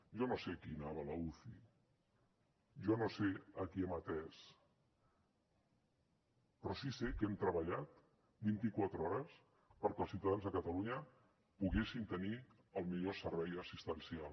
jo no sé qui anava l’uci jo no sé a qui hem atès però sí sé que hem treballat vint i quatre hores perquè els ciutadans de catalunya poguessin tenir el millor servei assistencial